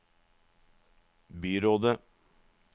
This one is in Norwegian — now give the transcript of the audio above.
byrådet